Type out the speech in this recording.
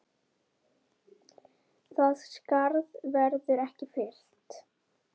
Það skarð verður ekki fyllt.